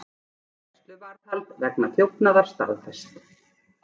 Gæsluvarðhald vegna þjófnaða staðfest